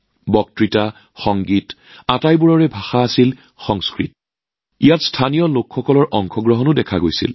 সংলাপ সংগীত নৃত্য সকলো সংস্কৃতত যত স্থানীয় ৰাইজৰ অংশগ্ৰহণো দেখা গল